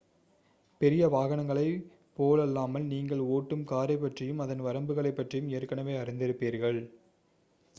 பெரிய வாகனங்களைப் போலல்லாமல் நீங்கள் ஓட்டும் காரைப்பற்றியும் அதன் வரம்புகளைப் பற்றியும் ஏற்கனவே அறிந்திருப்பீர்கள்